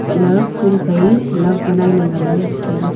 tahle phul phai love banailey nganley chu tailey.